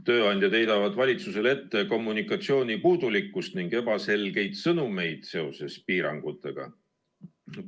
Tööandjad heidavad valitsusele ette kommunikatsiooni puudulikkust ning ebaselgeid sõnumeid piirangute kohta.